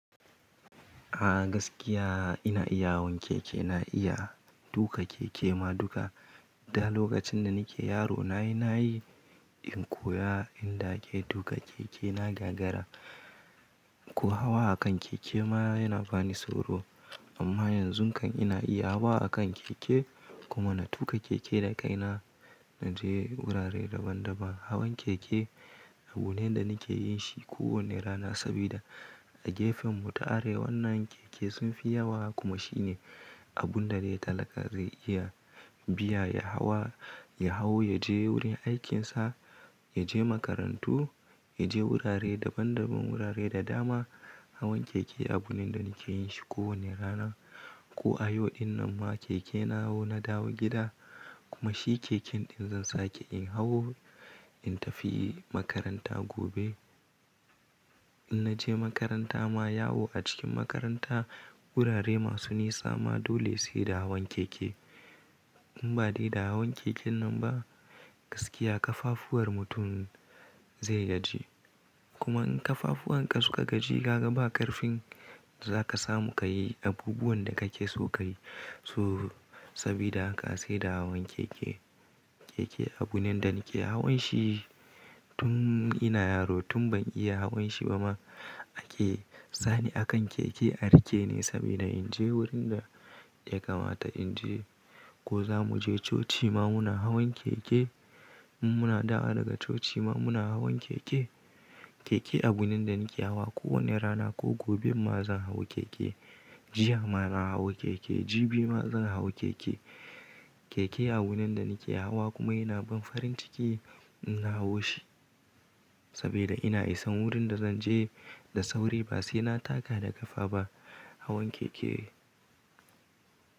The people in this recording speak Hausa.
A gaskiya ina iya hawan keke, na iya tuƙa keke ma duka. Da lokacin da nike yaro na yi, na yi in koya in da ake tuƙa keke na gagara. Ko hawa a kan keke ma yana bani sauro. Amma yanzun kan ina iya hawa a kan keke, kuma na tuƙa keke da kaina na je wurare daban daban. Hawan keke abune da nike yin shi kowani rana sabida a gefenmu ta arewannan keke sun fi yawa kuma shine abun da dai talaka zai iya biya ya hawa, ya hau ya je wurin aikinsa, ya je makarantu, ya je wurare daban daban wurare da dama. Hawan keke abu ne da nike yin shi kowani rana. Ko a yau din nan ma keke na hau na dawo gida kuma shi keken ɗin zan sake in hau in tafi makaranta gobe. In naje makaranta ma, yawo a cikin makaranta wurare masu nisa ma dole sai da hawan keke. In ba dai da hawan keken nan ba, gaskiya ƙafafuwar mutum zai gaji. Kuma in ƙafafuwan ka suka gaji kaga ba ƙarfin da zaka samu ka yi abubuwan da kake so ka yi, so sabida haka sai da hawan keke. Keke abu ne da nike hawan shi tun ina yaro, tun ban iya hawan shi ba ma ake sani akan keke a riƙe ni sabida in je wurin da ya kamata in je ko zamu je coci ma muna hawan keke. In muna dawa daga coci ma muna hawan keke. Keke abu ne da nike hawa kowani rana ko gobej ma zan hau keke. Jiya ma na hau keke, jibi ma zan hau keke. Keke abu ne da nike hawa kuma yana ban farin ciki in na hau shi, sabida ina isan wurin da zan je da sauri ba sai na taka da ƙafa ba. Hawan keke.